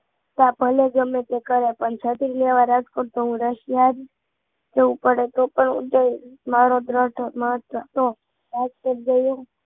ભલે ગમે તે કરે પણ છત્રી લેવા રાજકોટ તો હું Russia જ જવું પડે તો પણ હું જઈશ મારો દ્રઢ મત હતો રાજકોટ જવું